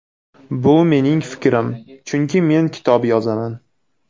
Bu mening fikrim, chunki men kitob yozaman.